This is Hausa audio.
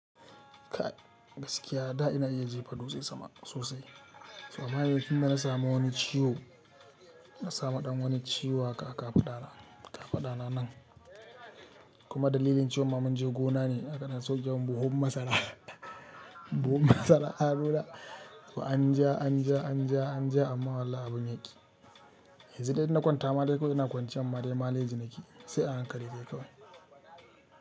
Kai gaskiya da ina iya jefa dutse sama sosai amma yanzu tunda na samu wani ciwo, na samu ɗan wani ciwo haka haka a kafaɗa na nan kuma dalilin ciwon ma munje gona ne ana sauke mun buhun masara, buhun masara a hannuna. To an ja, an ja, an ja, an ja amma wallahi abun ya ƙi. Yanzu dai in na kwanta ma dai kawai ina kwanciyan ma dai maleji nake yi sai a hankali ne kai.